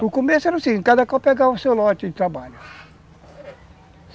No começo era assim, cada qual pegava o seu lote de trabalho.